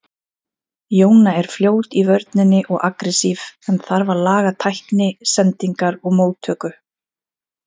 Jóna er fljót í vörninni og agressív en þarf að laga tækni, sendingar og móttöku.